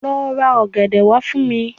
Lo ra ògèdè wa fun mi